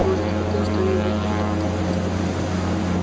может хоть ты что-нибудь придумаешь